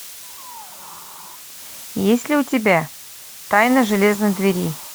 есть ли у тебя тайна железной двери